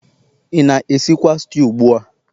ị na-esikwa stew ugbu a?